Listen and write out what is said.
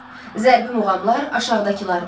Zərbi muğamlar aşağıdakılardır: